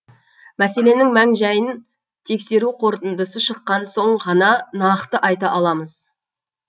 мәселенің мән жайын тексеру қорытындысы шыққан соң ғана нақты айта аламыз